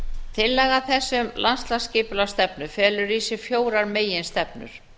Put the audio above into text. tillaga þessi um landsskipulagsstefnu felur í sér fjórar meginstefnur